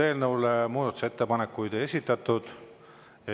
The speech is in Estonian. Eelnõu kohta muudatusettepanekuid ei esitatud.